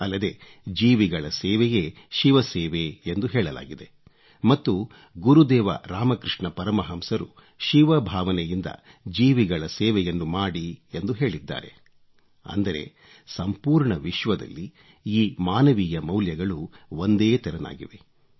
ಅಲ್ಲದೆ ಜೀವಿಗಳ ಸೇವೆಯೇ ಶಿವ ಸೇವೆ ಎಂದು ಹೇಳಲಾಗಿದೆ ಮತ್ತು ಗುರುದೇವ ರಾಮಕೃಷ್ಣ ಪರಮಹಂಸರು ಶಿವ ಭಾವನೆಯಿಂದ ಜೀವಿಗಳ ಸೇವೆಯನ್ನು ಮಾಡಿ ಎಂದು ಹೇಳಿದ್ದಾರೆ ಅಂದರೆ ಸಂಪೂರ್ಣ ವಿಶ್ವದಲ್ಲಿ ಈ ಮಾನವೀಯ ಮೌಲ್ಯಗಳು ಒಂದೇ ತೆರನಾಗಿವೆ